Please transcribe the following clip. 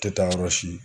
Tɛ taa yɔrɔ si